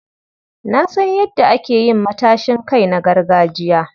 Na san yadda ake yin matashin kai na gargajiya.